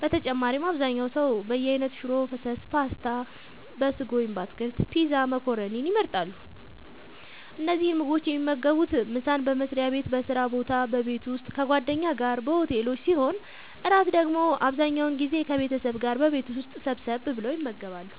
በተጨማሪም አብዛኛው ሰው በየአይነት ሽሮ ፈሰስ ፓስታ(በስጎ ወይም በአትክልት) ፒዛ መኮረኒን ይመርጣሉ። እነዚህን ምግቦች የሚመገቡት ምሳን በመስሪያ ቤት በስራ ቦታ በቤት ውስጥ ከጓደኛ ጋር በሆቴሎች ሲሆን እራት ደግሞ አብዛኛውን ጊዜ ከቤተሰብ ጋር በቤት ውስጥ ሰብሰብ ብለው ይመገባሉ።